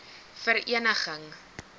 vereeniging